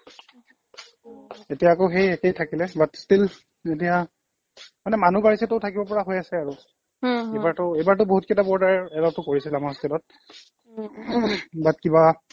এতিয়া আকৌ সেই একেই থাকিলে but still এতিয়া মানে মানুহ ঘৰ হিচাপেতো থাকিব পৰা হৈ আছে আৰু এইবাৰতো এইবাৰতো বহুতকিটা boarder ও কৰিছে আমাৰ hostel ত but কিবা